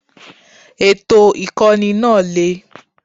Ètò Ìkọ́ni náà le.